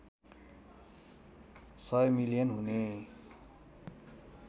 १०० million हुने